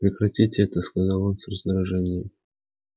прекратите это сказал он с раздражением